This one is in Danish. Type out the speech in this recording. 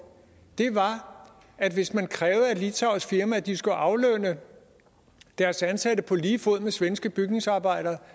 var at hvis man krævede af et litauisk firma at de skulle aflønne deres ansatte på lige fod med svenske bygningsarbejdere